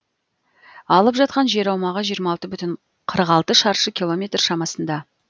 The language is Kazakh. алып жатқан жер аумағы жиырма алты бүтін қырық алты шаршы километр шамасында